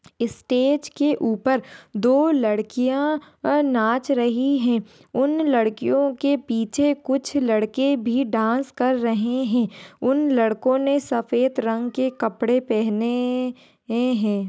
Stage के ऊपर दो लड्कीया नाच रही है। उन लड़कियो के पीछे कुछ लड़के भी डांस कर रहे है। उन लड़को ने सफ़ेद रंग के कपड़े पहने ए है।